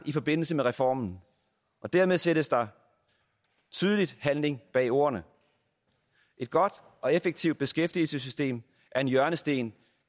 i forbindelse med reformen og dermed sættes der tydeligt handling bag ordene et godt og effektivt beskæftigelsessystem er en hjørnesten